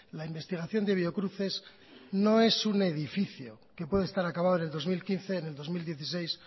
la investigación de biocruces no es un edificio que puede estar acabado en el dos mil quince en el dos mil dieciséis